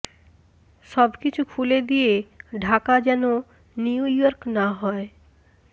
সবকিছু খুলে দিয়ে ঢাকা যেন নিউ ইয়র্ক না হয়